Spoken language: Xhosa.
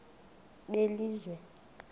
belizwe